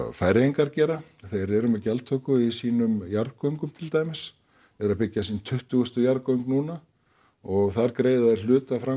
Færeyingar gera þeir eru með gjaldtöku í sínum jarðgöngum til dæmis eru að byggja sín tuttugustu jarðgöng núna og þar greiða þeir hluta af